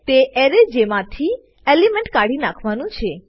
તે એરે જેમાંથી એલિમેન્ટ કાઢી કાઢવાનું છે